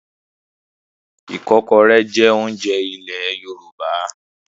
Ìkọ́kọrẹ́ jẹ́ oúnjẹ ilẹ̀ Yorùbá.